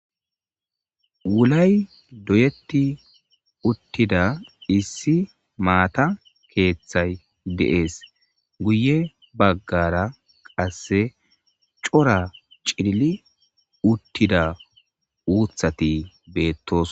Wulay doyetti uttida issi maata keeththay de'ees guye baggara qasse cora cili uttida uuthati beettos